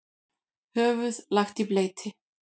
Höfuð lagt í bleyti.